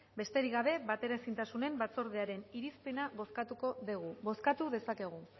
besterik gabe bateraezintasunen batzordearen irizpena bozkatuko dugu bozkatu dezakegu